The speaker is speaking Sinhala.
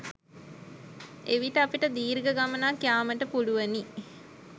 එවිට අපට දීර්ඝ ගමනක් යාමට පුළුවනි